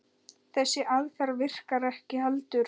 Þessi aðferð virkar ekki heldur.